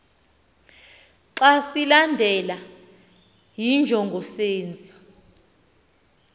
xa silandelwa yinjongosenzi